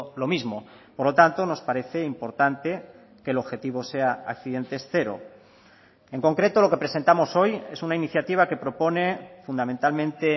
lo mismo por lo tanto nos parece importante que el objetivo sea accidentes cero en concreto lo que presentamos hoy es una iniciativa que propone fundamentalmente